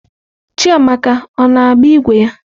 Chiamaka ọ na-agba ígwè ya?